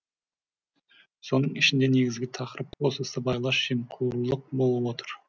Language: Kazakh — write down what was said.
соның ішінде негізгі тақырып осы сыбайлас жемқорлық болып отыр